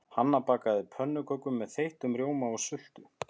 Hanna bakar pönnukökur með þeyttum rjóma og sultu.